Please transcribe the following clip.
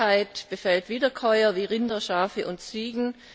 Die Krankheit befällt Wiederkäuer wie Rinder, Schafe und Ziegen.